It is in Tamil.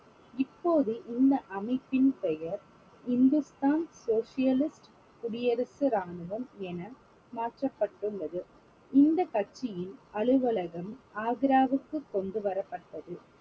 இப்போது இந்த அமைப்பின் பெயர் ஹிந்துஸ்தான் சோசியலிஸ்ட் குடியரசு ராணுவம் என மாற்றப்பட்டுள்ளது இந்தக் கட்சியின் அலுவலகம் ஆக்ராவுக்கு கொண்டு வரப்பட்டது